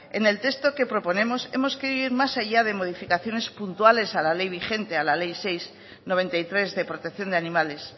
en el texto que proponemos hemos querido ir más allá de modificaciones puntuales a la ley vigente a la ley seis barra mil novecientos noventa y tres de protección de animales